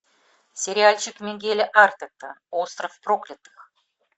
сериальчик мигеля артета остров проклятых